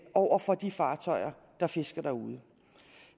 over for de fartøjer der fisker derude